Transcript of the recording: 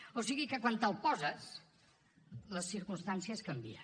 o sigui que quan te’l poses les circumstàncies canvien